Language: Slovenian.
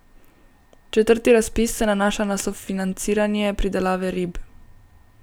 Četrti razpis se nanaša na sofinanciranje pridelave rib.